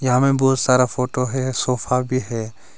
अमें बहुत सारा फोटो है सोफा भी है।